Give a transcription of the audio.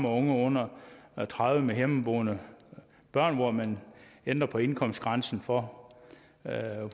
under tredive med hjemmeboende børn hvor man ændrer på indkomstgrænsen for